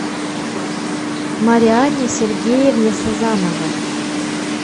марианне сергеевне сазановой